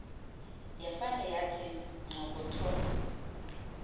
yafane yathi nxokotho